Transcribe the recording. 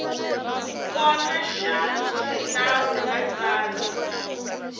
kona xa xinawu na tsalwa